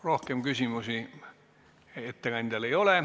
Rohkem küsimusi ettekandjale ei ole.